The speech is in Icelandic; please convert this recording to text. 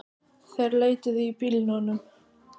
Þeir leituðu í bílunum